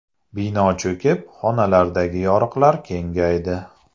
Bino cho‘kib, xonalardagi yoriqlar kengaydi.